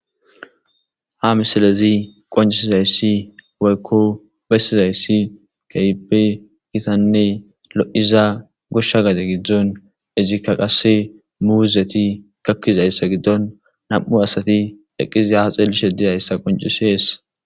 Ha misilezi qoncisizayssi woykko bessizayssi keype gitanne lo'iza goshsha gade giddzon izikka qasse muuzeti kakkizayssa giddon nam'u asati eqqizi ha xeeli shedizayssa qoncisees.